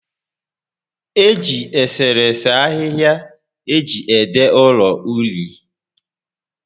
Eji eserese ahịhịa eji ede ụlọ uri